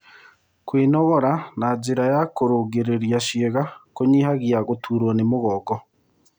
Kwĩnogora na njĩra ya kũrũngĩrĩrĩa ciĩga kũnyĩhagĩa gũtũrwo nĩ mũgongo